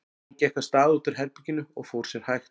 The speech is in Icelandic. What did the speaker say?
Jón gekk af stað út úr herberginu og fór sér hægt.